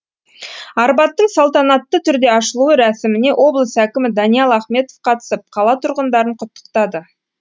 арбаттың салтанатты түрде ашылуы рәсіміне облыс әкімі даниал ахметов қатысып қала тұрғындарын құттықтады